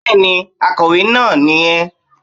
Bẹ́ẹ̀ni, akọ̀wé naa ni yẹn